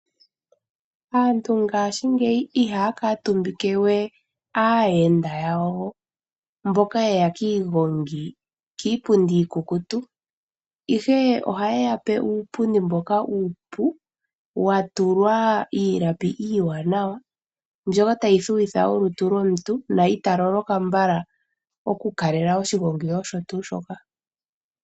Aantu ngaashingeyi ihaya kuutumbike we aayenda yawo mbono ye ya kiigongi kiipundi iikukutu. Ihe ohaye ya pe uupundi mboka uupu wa tulwa iilapi iiwanawa mbyoka tayi thuwitha olutu lwomuntu na ita loloka mbala okukalela oshigongi osho tuu shoka.